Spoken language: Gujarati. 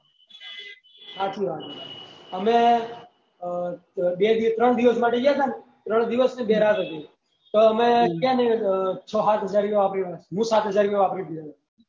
હાચી વાત હે આહ અમે એ બે દિવસ ત્રણ દિવસ માં જયીયે ને ત્રણ દિવસ ને બે રાત હતી તો અમે હે ને છો હાત હજાર રુપયા વાપરી નાખ્યા સાત હજાર વાપરી દિયે